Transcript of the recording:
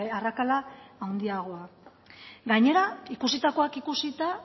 arrakala handiagoa gainera ikusitakoak ikusita